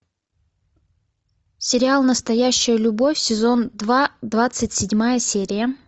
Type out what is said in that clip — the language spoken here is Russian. сериал настоящая любовь сезон два двадцать седьмая серия